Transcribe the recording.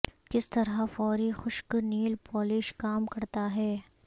کس طرح فوری خشک نیل پولش کام کرتا ہے